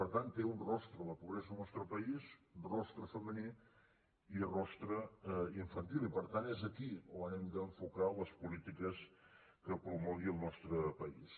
per tant té un rostre la pobresa al nostre país un rostre femení i un rostre infantil i per tant és aquí on hem d’enfocar les polítiques que promogui el nostre país